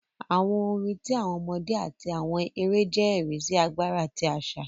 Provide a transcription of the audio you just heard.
Àwọn orin ti awọn ọmọdé ati awọn èrè jẹ ẹri si agbara ti aṣa.